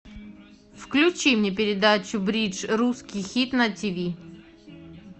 включи мне передачу бридж русский хит на тв